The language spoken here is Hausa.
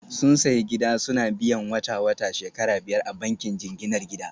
Sun sayi gida suna biyan wata-wata shekara biyar a bankin jinginar gida